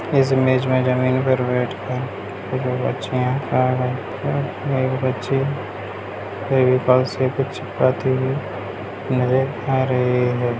इस इमेज में जमीन पर बैठ कर दो बच्चियाँ खा रही हैं यहाँ एक बच्ची फेविकोल से कुछ चिपकाते हुए नजर आ रही हैं।